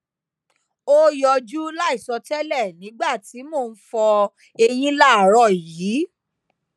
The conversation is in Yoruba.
o yọju laisọtẹlẹ nigba ti mo n fọ eyin laaarọ yii